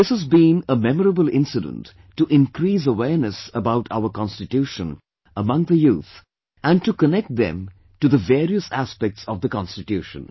This has been a memorable incident to increase awareness about our Constitution among the youth and to connect them to the various aspects of the Constitution